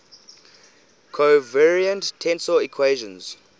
covariant tensor equations